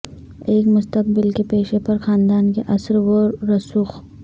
ایک مستقبل کے پیشے پر خاندان کے اثر و رسوخ